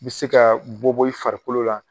U bɛ se ka bɔbɔ i farikolo la.